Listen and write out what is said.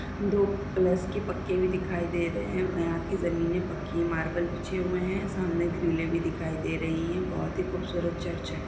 दो प्लस की पक्के भी दिखाई दे रहे है यहा कि ज़मीने पक्की है मार्बल बिछे हुए है सामने ग्रीले भी दिखाई दे रही है बहुत ही खूबसूरत चर्च है।